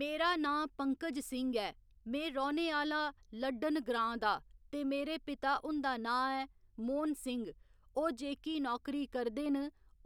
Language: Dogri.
मेरा नां पंकज सिंह ऐ में रौह्‌ने आह्‌ला लड़्डन ग्रां दा ते मेरे पिता हुंदा नां ऐ मोहन सिंह ओह् जेह्‌की नौकरी करदे न